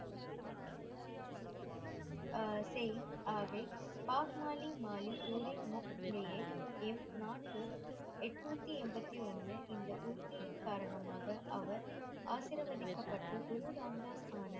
எண் நான்கு எட்நூத்தி எண்பத்தி ஒண்ணு இந்த உறுதியின் காரணமாக அவர் ஆசிர்வதிகப்பட்டு குரு ராம் தாஸ் .